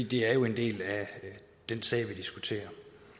det er jo en del af den sag vi diskuterer